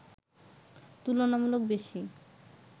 তুলনামূলক বেশি